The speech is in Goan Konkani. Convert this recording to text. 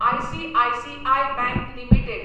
ICICI bank limited